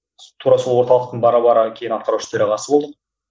тура сол орталықтың бара бара кейін атқарушы төрағасы болдық